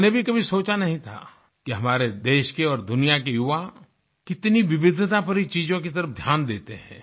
मैंने भी कभी सोचा नही था कि हमारे देश के और दुनिया के युवा कितनी विविधता भरी चीजों की तरफ ध्यान देते हैं